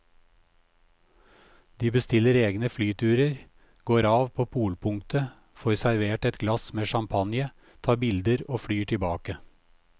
De bestiller egne flyturer, går av på polpunktet, får servert et glass med champagne, tar bilder og flyr tilbake.